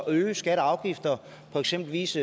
øge skatter og afgifter eksempelvis